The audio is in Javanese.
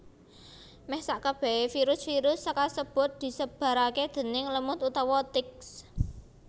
Meh sakebehe virus virus kasebut disebarake déning lemut utawa ticks